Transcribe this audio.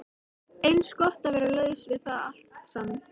Eins gott að vera laus við það allt saman.